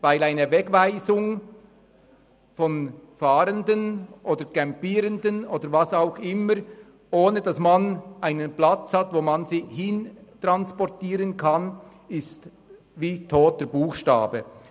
Bei einer Wegweisung von Fahrenden oder Campierenden oder was auch immer, wäre es – ohne dass man einen Platz hat, wo man sie hin transportieren kann – wie toter Buchstabe.